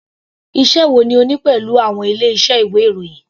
Iṣẹ́ wo ni o ní pẹ̀lú àwọn ilé iṣẹ́ ìwé ìròyìn.